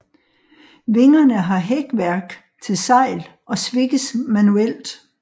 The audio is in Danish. Vingerne har hækværk til sejl og svikkes manuelt